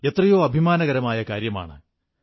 എന്നാൽ ഇപ്രാവശ്യം അതു സാധിച്ചില്ല